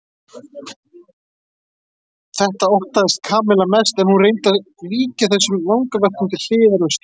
Þetta óttaðist Kamilla mest en hún reyndi að víkja þessum vangaveltum til hliðar um stund.